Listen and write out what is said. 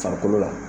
Farikolo la